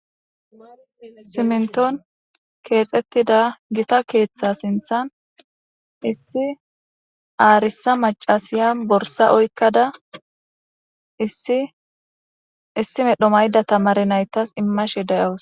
Simminton keexettida gita keeththa sinthan issi aarisa macasiya borsa oyikkada issi issi medho mayda tamare naytas immashe dawusu.